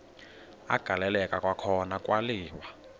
agaleleka kwakhona kwaliwa